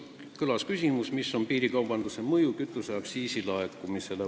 Kõlas ka küsimus, milline on piirikaubanduse mõju kütuseaktsiisi laekumisele.